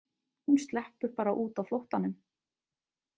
Hún sleppur bara út á flóttanum.